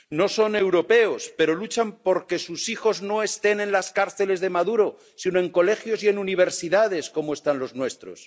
No son europeos, pero luchan por que sus hijos no estén en las cárceles de Maduro, sino en colegios y en universidades como están los nuestros.